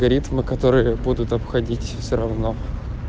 ритмы которые будут обходить все равно